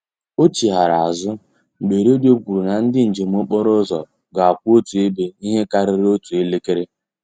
O chighara azụ mgbe redio kwuru na ndị njem okporo ụzọ ga-akwụ otu ebe ihe karịrị otu elekere